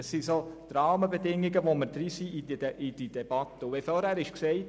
Mit diesen Rahmenbedingungen sind wir in die Debatte eingestiegen.